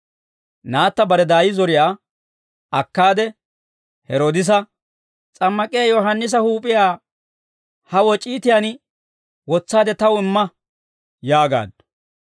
Naatta bare daay zoriyaa akkaade Heroodisa, «S'ammak'iyaa Yohaannisa huup'iyaa ha woc'iitiyaan wotsaade taw imma» yaagaaddu.